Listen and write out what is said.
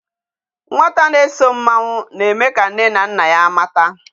Nwata na-eso mmanwu na-eme ka nne na nna ya mata.